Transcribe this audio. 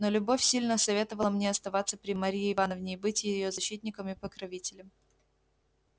но любовь сильно советовала мне оставаться при марье ивановне и быть её защитником и покровителем